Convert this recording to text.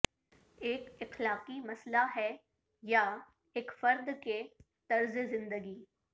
ایک اخلاقی مسئلہ ہے یا ایک فرد کے طرز زندگی